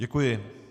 Děkuji.